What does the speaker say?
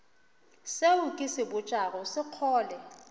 seo ke se botšago sekgole